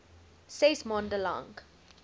ses maande lank